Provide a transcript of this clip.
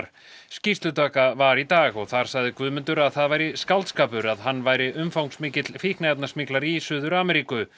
skýrslutaka var í dag og þar sagði Guðmundur að það væri skáldskapur að hann væri umfangsmikill í Suður Ameríku